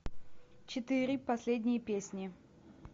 четыре последние песни